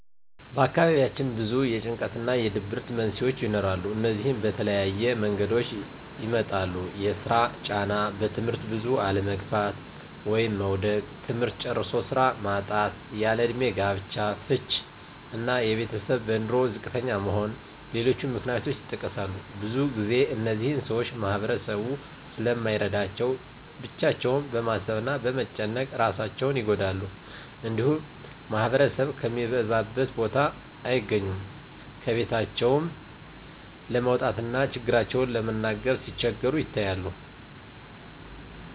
በአካባቢያችን ብዙ የጭንቀት እና የድብርት መንስሄዎች ይኖራሉ። እነዚህም በተለያየ መንገዶች ይመጣሉ የስራ ጫና; በትምህርት ብዙ አለመግፋት (መዉደቅ); ትምህርት ጨርሶ ስራ ማጣት; ያለእድሜ ጋብቻ; ፍች እና የቤተሰብ በኑሮ ዝቅተኛ መሆን እና ሌሎችም ምክንያቶች ይጠቀሳሉ። ብዙ ግዜ እነዚህን ሰወች ማህበረሰቡ ስለማይረዳቸው ብቻቸውን በማሰብ እና በመጨነቅ እራሳቸውን ይጎዳሉ። እንዲሁም ማህበረሰብ ከሚበዛበት ቦታ አይገኙም። ከቤታቸውም ለመውጣት እና ችግራቸውን ለመናገር ሲቸገሩ ይታያሉ።